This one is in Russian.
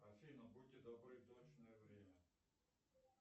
афина будьте добры точное время